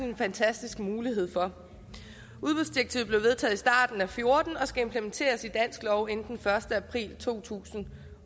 en fantastisk mulighed for udbudsdirektivet blev vedtaget i og fjorten og skal implementeres i dansk lov inden den første april to tusind